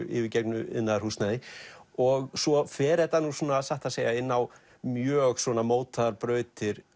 yfirgefnu iðnaðarhúsnæði og svo fer þetta nú satt að segja inn á mjög mótaðar brautir